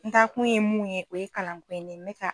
N taa kun ye mun ye, nin kalan ko in na .